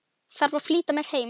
Þarf að flýta mér heim.